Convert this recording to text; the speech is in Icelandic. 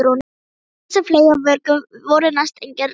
Gegn þessum fleygu vörgum voru næstum engin ráð.